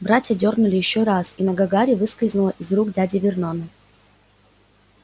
братья дёрнули ещё раз и нога гарри выскользнула из рук дяди вернона